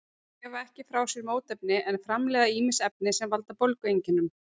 Þær gefa ekki frá sér mótefni en framleiða ýmis efni sem valda bólgueinkennum.